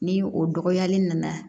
Ni o dɔgɔyali nana